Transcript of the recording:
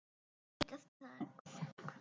Það verður erfitt starf.